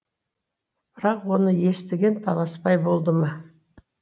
бірақ оны естіген таласбай болды ма